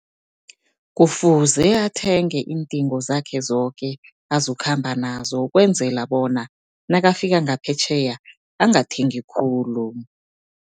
Kufuze athenge iindingo zakhe zoke azokhamba nazo, ukwenzela bona nakafika ngaphetjheya angathengi khulu.